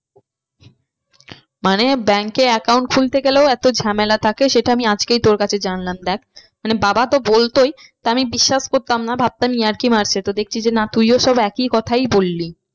মানে bank এ account খুলতে গেলেও এতো ঝামেলা থাকে সেটা আমি আজকেই তোর কাছে জানলাম দেখ। মানে বাবা তো বলতোই তা আমি বিশ্বাস করতাম না ভাবতাম ইয়ার্কি মারছে তো দেখছি যে তুইও সব একই কথাই বললি